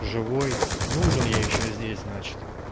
живой нужен я ещё здесь значит